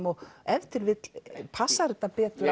og ef til vill passar þetta betur